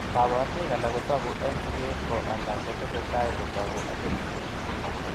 Koborunoik alak kotoku en siket, ko alak kotosetai kotoku ak kenyisiek.